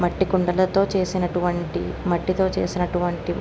మట్టి కుండలతో చేసినటువంటి మట్టితో చేసినటువంటి --